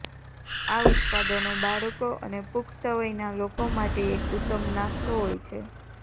આ ઉત્પાદનો બાળકો અને પુખ્ત વયના લોકો માટે એક ઉત્તમ નાસ્તો હોય છે